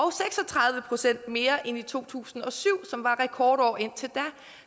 tredive procent mere end i to tusind og syv som var rekordår indtil da